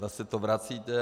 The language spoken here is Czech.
Zase to vracíte.